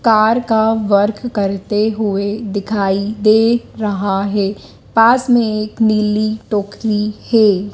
Car का work करते हुए दिखाई दे रहा है पास में एक नीली टोकरी है।